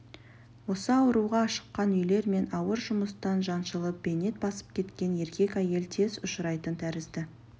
осы ауруға ашыққан үйлер мен ауыр жұмыстан жаншылып бейнет басып кеткен еркек әйел тез ұшырайтын тәрізді